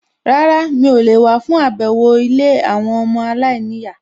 Rárá, mi ò lè wá fún àbẹ̀wò ilé àwọn ọmọ aláìníyàá